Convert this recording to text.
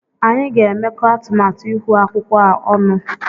Anyị ga-emekọ atụmatụ ihu akwụkwọ a ọnụ.